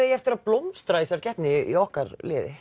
eigi eftir að blómstra í þessari keppni í okkar liði